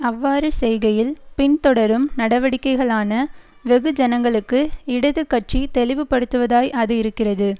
அவ்வாறு செய்கையில் பின்தொடரும் நடவடிக்கைகளான வெகுஜனங்களுக்கு இடது கட்சி தெளிவுபடுத்துவதாய் அது இருக்கிறது